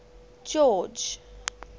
george